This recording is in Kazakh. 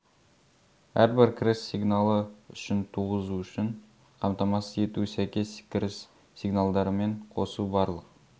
әрбір кіріс сигналы үшін туғызу үшін қамтамасыз ету сәйкес кіріс сигналдарымен қосу барлық